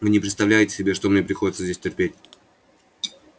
вы не представляете себе что мне приходится здесь терпеть